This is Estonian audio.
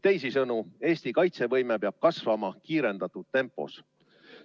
Teisisõnu: Eesti kaitsevõime peab kasvama kiirendatud tempos.